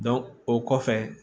o kɔfɛ